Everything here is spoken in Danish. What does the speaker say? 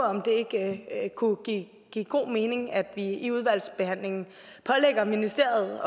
om det ikke kunne give give god mening at vi i udvalgsbehandlingen pålægger ministeriet